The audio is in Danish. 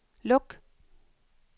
luk